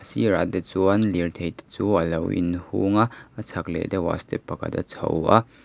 a sirah te chuan lirthei te chu alo in hung a a chhak leh deuhah step pakhat a chho a.